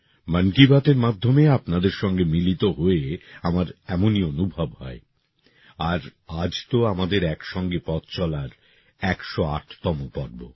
মন কি বাতএর মাধ্যমে আপনাদের সঙ্গে মিলিত হয়ে আমার এমনই অনুভব হয় আর আজ তো আমাদের একসঙ্গে পথ চলার একশো আটতম পর্ব